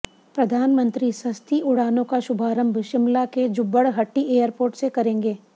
प्रधानमंत्री सस्ती उड़ानों का शुभारंभ शिमला के जुब्बड़हट्टी एयरपोर्ट से करेंगे